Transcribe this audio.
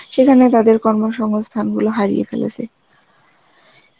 সেখানে তাদের কর্মসংস্থানগুলো হারিয়ে ফেলেছে